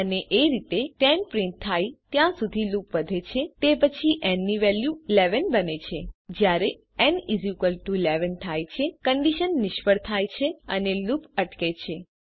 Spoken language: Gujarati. અને એ રીતે 10 પ્રિન્ટ થાય ત્યાં સુધી લુપ વધે છે તે પછી ન ની વેલ્યુ 11 બને છે જયારે ન 11 થાય છે કન્ડીશન નિષ્ફળ જાય છે અને લૂપ અટકે છે